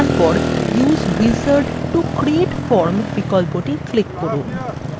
এবং তারপর use wizard to create form বিকল্পthe click করুন